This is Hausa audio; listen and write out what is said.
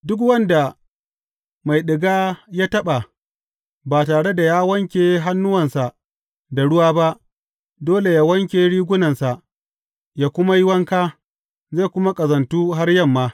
Duk wanda mai ɗiga ya taɓa ba tare da ya wanke hannuwansa da ruwa ba, dole yă wanke rigunansa yă kuma yi wanka, zai kuma ƙazantu har yamma.